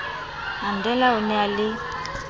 mandela o ne a le